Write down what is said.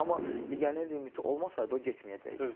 Amma legioner limiti olmasaydı, o getməyəcəkdir.